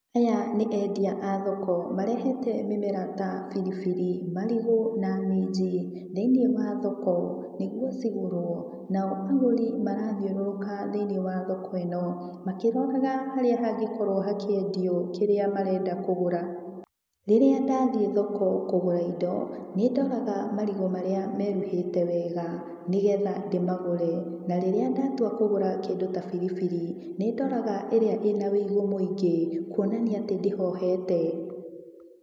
Aya nĩ endia a thoko, marehete mĩmera ta biribiri, marigũ na minji, thĩiniĩ wa thoko, nĩguo cigũrwo, nao agũri marathiũrũrũka thĩ-inĩ wa thoko ĩno, makĩroraga harĩa hangĩkorwo hakĩendio kĩrĩa marenda kũgũra. Rĩrĩa ndathiĩ thoko kũgũra indo, nĩ ndoraga marigũ marĩa meruhĩte wega, nĩgetha ndĩmagũre. Na rĩrĩa ndatua kũgũra kĩndũ ta biribiri, nĩ ndoraga ĩrĩa ĩna ũigũ mũingĩ kuonania atĩ ndĩhohete.